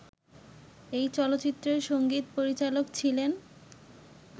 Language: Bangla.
এই চলচ্চিত্রের সংগীত পরিচালক ছিলেন